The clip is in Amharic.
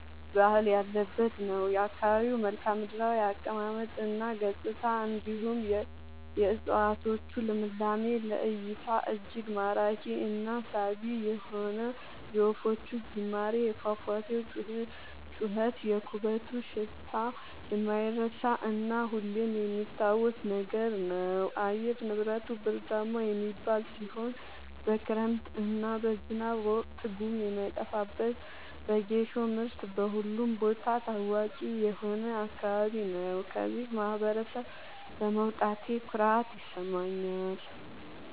ባህል ያለበት ነው። የአካባቢው መልከዓምድራው አቀማመጥ እና ገጽታ እንዲሁም የ እፀዋቶቹ ልምላሜ ለ እይታ እጅግ ማራኪ እና ሳቢ የሆነ የወፎቹ ዝማሬ የፏፏቴው ጩኸት የኩበቱ ሽታ የማይረሳ እና ሁሌም የሚታወስ ነገር ነው። አየር ንብረቱ ብርዳማ የሚባል ሲሆን በክረምት እና በዝናብ ወቅት ጉም የማይጠፋበት በጌሾ ምርት በሁሉም ቦታ ታዋቂ የሆነ አካባቢ ነው። ከዚህ ማህበረሰብ በመውጣቴ ኩራት ይሰማኛል።